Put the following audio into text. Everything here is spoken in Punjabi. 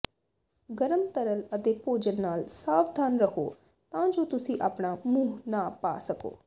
ਗਰਮ ਤਰਲ ਅਤੇ ਭੋਜਨ ਨਾਲ ਸਾਵਧਾਨ ਰਹੋ ਤਾਂ ਜੋ ਤੁਸੀਂ ਆਪਣਾ ਮੂੰਹ ਨਾ ਪਾ ਸਕੋ